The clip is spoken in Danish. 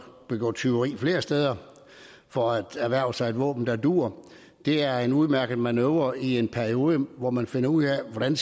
begå tyveri flere steder for at erhverve sig et våben der duer det er en udmærket manøvre i en periode hvor man finder ud af hvordan